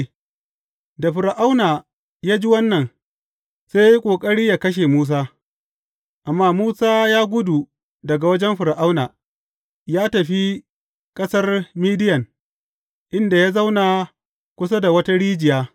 Da Fir’auna ya ji wannan, sai ya yi ƙoƙari yă kashe Musa, amma Musa ya gudu daga wajen Fir’auna, ya tafi ƙasar Midiyan inda ya zauna kusa da wata rijiya.